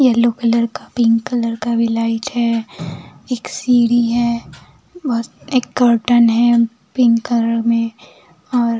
yellow colour का pink colour का भी लाइट है एक सीढ़ी है एक कर्टन है पिंक कलर में और --